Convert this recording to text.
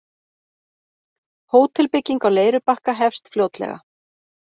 Hótelbygging á Leirubakka hefst fljótlega